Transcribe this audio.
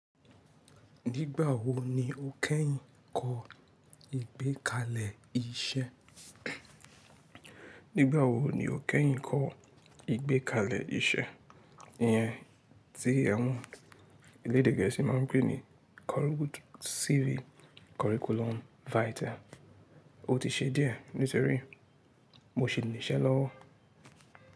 Nígbà wo ni o kẹ́yìn kọ ìgbékalẹ̀ iṣẹ́? Nígbà wo ni o kẹ́yìn kọ ìgbékalẹ̀ iṣẹ́, iyen tí awọ̀n elédè gẹ̀ẹ́sì ma ń pè ní Curriculum CV, curriculum vitae. O ti ṣe díẹ̀ nítorí mo sì ní iṣẹ́ lọ́wọ́.